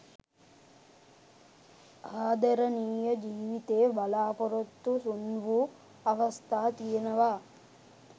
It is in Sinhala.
ආදරණීය ජීවිතේ බලාපොරොත්තු සුන් වූ අවස්ථා තියෙනවා.